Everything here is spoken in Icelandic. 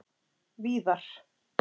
víðar